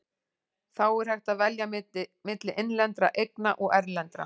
Þá er hægt að velja milli innlendra eigna og erlendra.